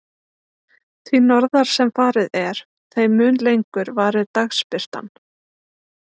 Því norðar sem farið er, þeim mun lengur varir dagsbirtan.